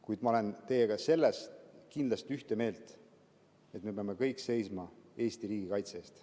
Kuid selles ma olen teiega kindlasti ühte meelt, et me peame kõik seisma Eesti riigikaitse eest.